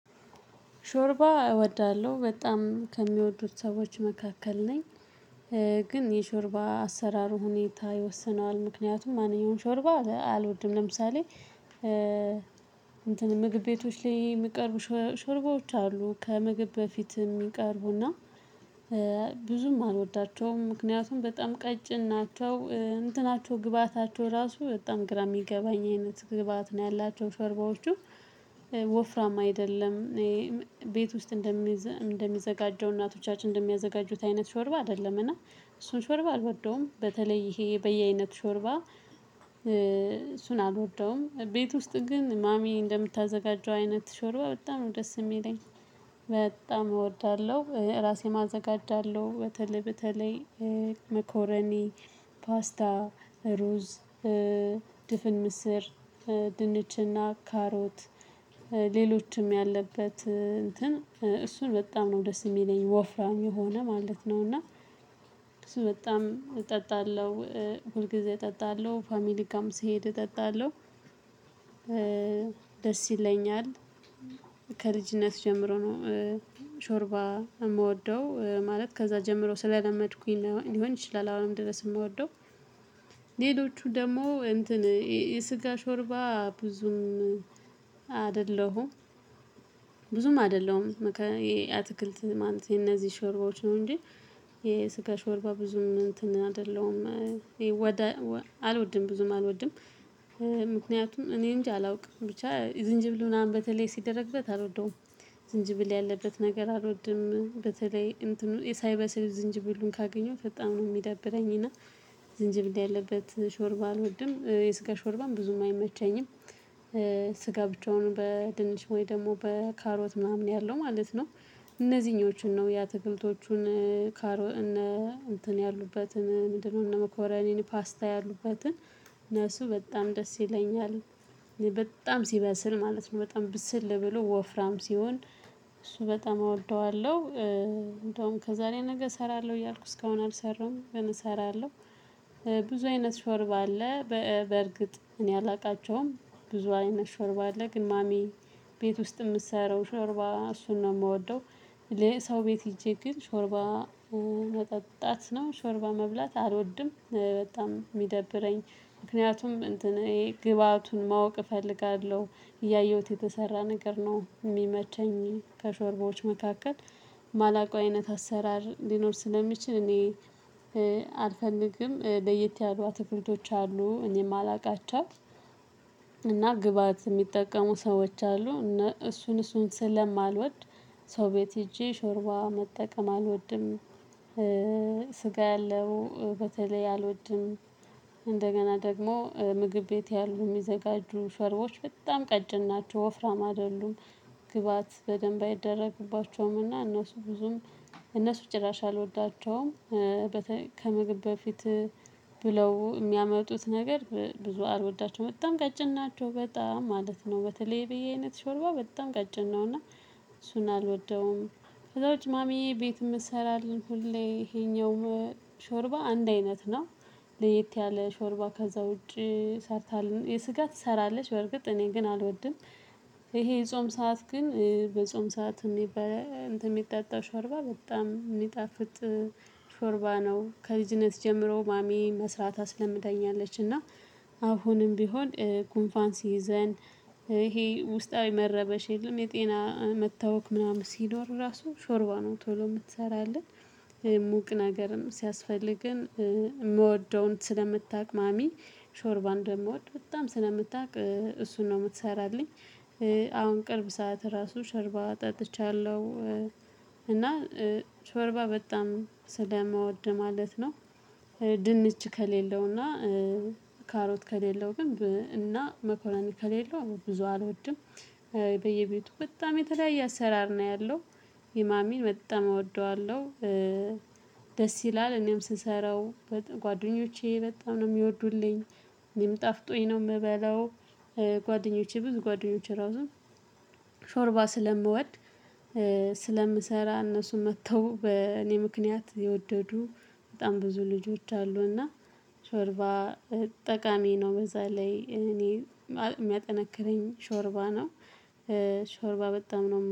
ሾርባ እወዳለሁ በጣም ከሚወዱት ሰዎች መካከል ነኝ። ግን የሾርባ አሰራሩ ሁኔታ ይወስነዋል ምክንያቱም ማንኛውንም ሾርባ አልወድም ለምሳሌ። እንትን ምግብ ቤቶች ላይ የሚቀርቡ ሽርባዎች አሉ ከምግብ በፊት የሚቀርቡና። ብዙም አልወዳቸውም ምክንያቱም በጣም ቀጭን ናቸው። እንትናቸው ግብአታቸው ራሱ በጣም ግራ ሚገባኝ አይነት ግብአባት ነው ያላቸው ሾርባዎቹ ወፍራም አይደለም። ቤት ውስጥ እንደሚዘጋጀው እናቶቻችን እንደሚያዘጋጁት አይነት ሾርባ አይደለም እና። እሱን ሾርባ አልወደውም በተለይ ይሄ በየአይነት ሾርባ። እሱን አልወደውም ቤት ውስጥ ግን ማሚ እንደምታዘጋጀው አይነት ሾርባ በጣም ነው ደስ የሚለኝ። በጣም እወዳለሁ እራሴም አዘጋጃለሁ በተለይ በተለይ መኮረኒ ፓስታ ሩዝ ድፍን ምስር ድንችና ካሮት ሌሎችም ያለበት እንትን እሱን በጣም ነው ደስ የሚለኝ ወፍራም የሆነ ማለት ነው። እና እሱ በጣም እጠጣለሁ ሁልጊዜ እጠጣለሁ ፋሚሊጋም ስሄድ እጠጣለሁ። ደስ ይለኛል። ከልጅነት ጀምሮ ነው ሾርባ የምወደው ማለት ከዛ ጀምሮ ስለለመድኩኝ ነው ሊሆን ይችላል አሁንም ድረስ የምወደው። ሌሎቹ ደግሞ እንትን የስጋ ሾርባ ብዙም አይደለሁም ብዙም አይደለሁም የአትክልት ማለት የነዚህ ሾርባዎች ነው እንጂ የስጋ ሾርባ ብዙም እንትን አይደለም። አልወድም ብዙም አልወድም። ምክንያቱም እኔ እንጃ አላውቅም ብቻ ዝንጅብል ምናምን በተለይ ስደረግበት አልወደውም። ዝንጅብል ያለበት ነገር አልወድም በተለይ ሳይበስል ዝንጅብሉን ካገኘሁ በጣም ነው የሚደብረኝ። እና ዝንጅብ ያለበት ሾርባ አልወድም የስጋ ሾርባም ብዙም አይመቸኝም። ስጋ ብቻውን በድንች ወይ ደግሞ በካሮት ምናምን ያለው ማለት ነው። እነዚህኞችን ነው የአትክልቶቹን ካሮ እነ እንትን ያሉበት ምንድነው? እነ እንደ መኮረኒ ፓስታ ያሉበትን እነሱ በጣም ደስ ይለኛል። በጣም ስበስል ማለት ነው በጣም ብስል ብሎ ወፍራም ስሆን። እሱ በጣም እወደዋለሁ እንደውም ከዛሬ ነገ እሰራለሁ እያልኩ እስከ አሁን አልሰራሁም እሰራለሁ። ብዙ አይነት ሾርባ አለ። በእርግጥ እኔ አላቃቸውም ብዙ አይነት ሾርባ አለ ግን ማሚ ቤት ውስጥ ምትሰራው ሾርባ እሱን ነው ምወደው። እኔ ሰው ቤት ሄጄ ግን ሾርባ መጠጣት ነው ሾርባ መብላት አልወድም። በጣም ሚደብረኝ ምክንያቱም እንትን ግብአቱን ማወቅ እፈልጋለሁ እያየሁት የተሰራ ነገር ነው የሚመቸኝ ከሾርባዎች መካከል። ማላቀው አይነት አሰራር ሊኖር ስለሚችል እኔ አልፈልግም ለየት ያሉ አትክልቶች አሉ እኔ ማለቃቸው። እና ግብአት የሚጠቀሙ ሰዎች አሉ እነ እሱን እሱን ስለማልወድ ሰው ቤት ሄጄ ሾርባ መጠቀም አልወድም። ስጋ ያለው በተለይ አልወድም እንደገና ደግሞ ምግብ ቤት ያሉ ሚዘጋጁ ሸርቦች በጣም ቀጭን ናቸው ወፍራም አይደሉም። ግብአት በደንብ ባይደረግባቸውም እና እነሱ ብዙም እነሱ ጭራሽ አልወዳቸውም። ከምግብ በፊት ብለው የሚያመጡት ነገር ብዙ አልወዳቸውም በጣም ቀጭን ናቸው በጣም ማለት ነው በተለይ በየ አይነት ሾርባ በጣም ቀጭን ነው እና እሱን አልወደውም። ከዛ ውጪ ማሚ ቤት ምትሰራልን ሁሌ ይሄኛው ሾርባ አንድ አይነት ነው። ለየት ያለ ሾርባ ከዛ ውጪ ሰርታልን የስጋ ትሰራለች በርግጥ እኔ ግን አልወድም። ይሄ የጾም ሰዓት ግን በጾም ሰዓት እንትን የሚጣጣ ሾርባ በጣም ሚጣፍጥ ሾርባ ነው። ከልጅነት ጀምሮ ማሚ መስራት አስለምደኛለች እና አሁንም ቢሆን ጉንፋን ስይዘን ይሄ ውስጣዊ መረበሽ የለም የጤና መታወክ ምናምን ስኖር ራሱ ሾርባ ነው ቶሎ ምትሰራለን። ሙቅ ነገርም ሲያስፈልገን ምወደውን ስለምታውቅ ማሚ ሾርባ እንደምወድ በጣም ስለምታውቅ እሱን ነው የምትሰራልኝ። አሁን ቅርብ ሰዓት ራሱ ሾርባ ጠጥቻለሁ። እና ሾርባ በጣም ስለምወድ ማለት ነው። ድንች ከሌለውና ካሮት ከሌለው ግን እና መኮረኒ ከሌለው ብዙ አልወድም። በየቤቱ በጣም የተለያየ አሰራር ነው ያለው የማሚ በጣም እወደዋለሁ። ደስ ይላል እኔም ስሰራው ጓደኞቼ በጣም ነው የሚወዱልኝ። እኔም ጣፍጦኝ ነው ምበላው። ጓደኞቼ ብዙ ጓደኞቼ እራሱ ሾርባ ስለምወድ ስለምሰራ እነሱ መጥተው በእኔ ምክንያት የወደዱ በጣም ብዙ ልጆች አሉ እና ሾርባ ጠቃሚ ነው በዛ ላይ እኔ የሚያጠነክረኝ ሾርባ ነው። ሾርባ በጣም ነው